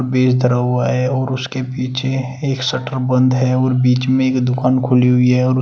base धरा हुआ है और उसके पीछे एक शटर बंद है और बीच में एक दुकान खुली हुई है और उस--